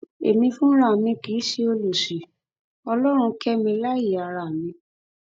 èmi fúnra mi kì í ṣe ọlọsí ọlọrun kẹ mi láàyè ara mi